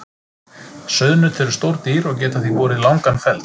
Sauðnaut eru stór dýr og geta því borið langan feld.